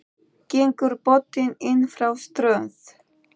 Gengur bótin inn frá strönd.